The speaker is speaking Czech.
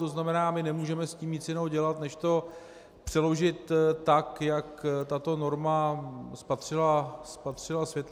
To znamená, že nemůžeme s tím nic jiného dělat než to přeložit tak, jak tato norma spatřila světlo světa.